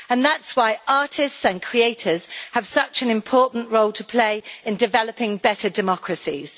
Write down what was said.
That is why artists and creators have such an important role to play in developing better democracies.